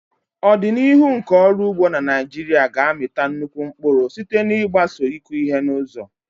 Ọdịnihu nke ọrụ ugbo na Naijiria ga-amịta nnukwu mkpụrụ site n'ịgbaso ịkụ ihe n'ụzọ.